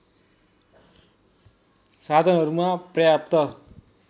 साधनहरूमा पर्याप्त